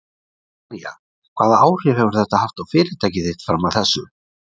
María: Hvaða áhrif hefur þetta haft á fyrirtæki þitt fram að þessu?